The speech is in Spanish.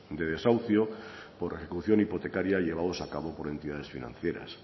de desahucio por ejecución hipotecaria llevados a cabo por entidades financieras